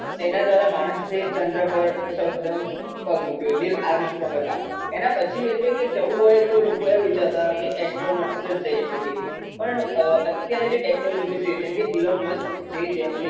એના દ્રારા માણસે ચંદ્ર પર સૌપ્રથમ પગ મુક્યો. નિલ આમસ્ટ્રોંગ હતા. એના પછી એટલે કે જવુ હોય તો લોકો એવુ વિચારતા હતા કે એસ્ટ્રોનટ જ જઈ શકે. પણ અત્યારે જે ટેક્નોલોજી છે જેમ કે એલોન મસ્ક જે છે એ